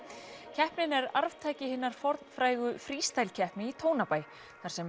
keppnin er arftaki hinnar fornfrægu keppni í Tónabæ þar sem